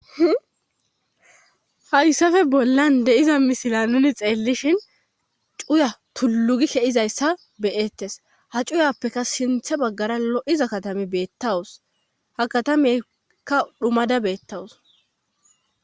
Hayssafe bollan deiza misila nuni xeellishin cuya tullugi keizayssa beyettes ha cuyappeka sinthe baggara lo'iza katame beettawus ha katameykka dhumada beettawus.